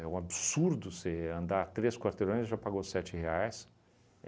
É um absurdo você andar três quarteirões e já pagou sete reais.